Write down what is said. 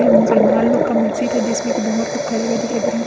ये मुसलमान लोग का मस्जिद है जिसमें की बहोत खड़े हुए दिखाई दे रहे है।